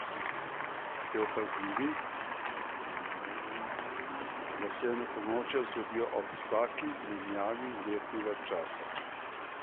Ste opazili, da se enakonočja zgodijo ob vsaki menjavi letnega časa?